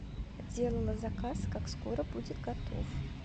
делала заказ как скоро будет готов